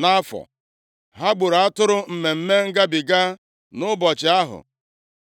nʼafọ. Ha gburu atụrụ Mmemme Ngabiga nʼụbọchị ahụ